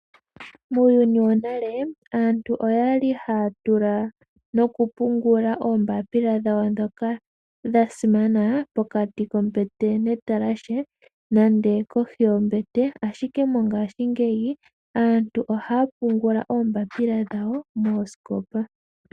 Muuyuni wonale aantu oyali haya tula nokungula oombapila dhawo dhoka dhasimana pokati kombete netalahe nande kohi yombete ashike mongashingeyi aantu ohaya pungula oombapila dhawo moosikopa.